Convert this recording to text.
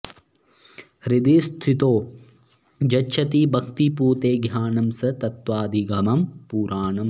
हृदि स्थितो यच्छति भक्तिपूते ज्ञानं स तत्त्वाधिगमं पुराणम्